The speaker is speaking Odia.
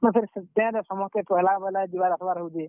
ମୁଇଁ ଫେର୍ ସେ train ରେ ସମସ୍ତେ ପହେଲା ପହେଲା ଯିବାର୍ ଆସ୍ ବାର୍ ହଉଛେ।